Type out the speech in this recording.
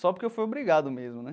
Só porque eu fui obrigado mesmo, né?